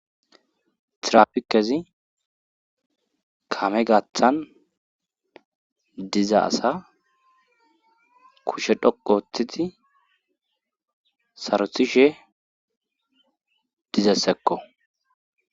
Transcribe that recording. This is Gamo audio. tirafikezi kame gaththan diza asa kushe dhoqu ooththidi sarothishe dizayisekko